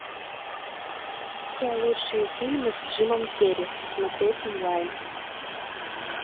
все лучшие фильмы с джимом керри смотреть онлайн